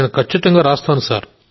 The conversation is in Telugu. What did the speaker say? నేను ఖచ్చితంగా రాస్తాను